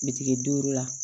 Bitiki duuru la